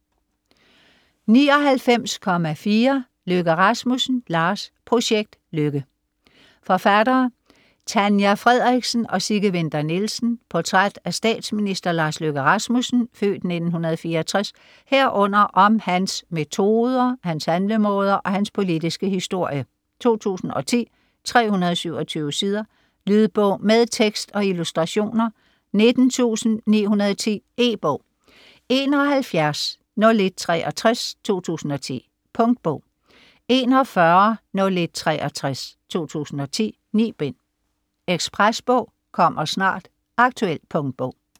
99.4 Løkke Rasmussen, Lars Projekt Løkke Forfattere: Tanja Frederiksen og Sigge Winther Nielsen Portræt af statsminister Lars Løkke Rasmussen (f. 1964), herunder om hans metoder, hans handlemåder og hans politiske historie. 2010, 327 sider. Lydbog med tekst og illustrationer 19910 E-bog 710163 2010. Punktbog 410163 2010. 9 bind. Ekspresbog - kommer snart. Aktuel punktbog.